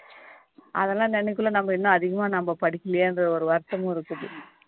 அதெல்லாம் நினைக்கல நம்ம இன்னும் அதிகமா நாம படிக்கலயே என்ற ஒரு வருத்தமும் இருக்குது